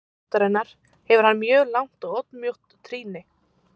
líkt og aðrar tegundir ættarinnar hefur hann mjög langt og oddmjótt trýni